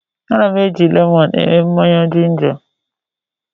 Ana m eji lemọnụ eme mmanya jinja.